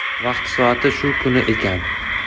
Vaqti soati shu kuni ekan.